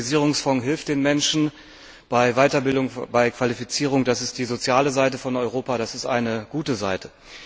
Der Globalisierungsfonds hilft den Menschen bei Weiterbildung und bei Qualifizierung. Das ist die soziale Seite von Europa, das ist eine gute Seite.